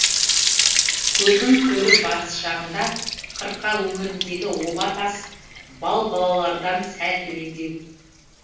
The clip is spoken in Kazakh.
көлдің төрі батыс жағында қырқа өңіріндегі оба тас балбалалардан сәл төмендеу